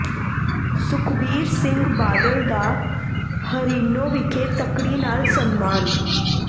ਸੁਖਬੀਰ ਸਿੰਘ ਬਾਦਲ ਦਾ ਹਰੀਨੌਾ ਵਿਖੇ ਤੱਕੜੀ ਨਾਲ ਸਨਮਾਨ